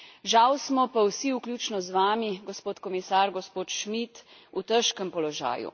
Žal smo pa vsi, vključno z vami, gospod komisar, gospod Schmit, v težkem položaju.